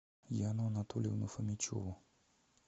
яну анатольевну фомичеву